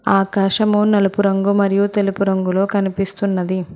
ఆకాశము నలుపు రంగు మరియు తెలుపు రంగులో కనిపిస్తున్నది